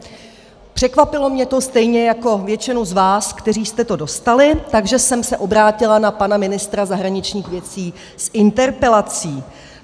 Překvapilo mě to stejně jako většinu z vás, kteří jste to dostali, takže jsem se obrátila na pana ministra zahraničních věcí s interpelací.